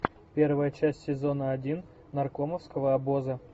первая часть сезона один наркомовского обоза